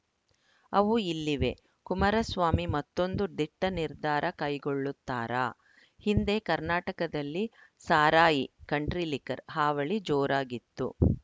ಅವು ಇಲ್ಲಿವೆ ಕುಮಾರಸ್ವಾಮಿ ಮತ್ತೊಂದು ದಿಟ್ಟನಿರ್ಧಾರ ಕೈಗೊಳ್ಳುತ್ತಾರಾ ಹಿಂದೆ ಕರ್ನಾಟಕದಲ್ಲಿ ಸಾರಾಯಿ ಕಂಟ್ರಿ ಲಿಕ್ಕರ್‌ ಹಾವಳಿ ಜೋರಾಗಿತ್ತು